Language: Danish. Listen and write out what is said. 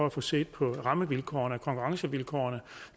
at få set på rammevilkårene og konkurrencevilkårene